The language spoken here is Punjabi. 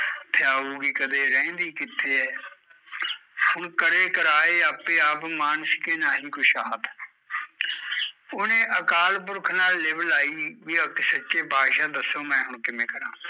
ਥਿਆਊਗੀ ਕਦੇ, ਰਹਿੰਦੀ ਕਿੱਥੇ ਐ ਹੁਣ ਕਰੇ ਕਰਾਏ ਆਪੇ ਆਪ ਮਾਨਿਸ਼ ਕੇ ਨਾਹੀ ਕਿਸ਼ਹਾਥ ਓਹਨੇ ਅਕਾਲ ਪੁਰਖ ਨਾਲ਼ ਲਿਵ ਲਾਈ ਵੀ ਅਕਸ਼ ਸੱਚੇ ਪਾਤਸ਼ਾਹ ਦਸੋ ਮੈਂ ਹੁਣ ਕਿਵੇ ਕਰਾ